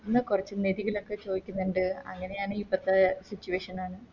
ന്ന കൊറച്ച് ചോയിക്ക്ന്ന്ണ്ട് അങ്ങനെയാണ് ഇപ്പത്തെ Situation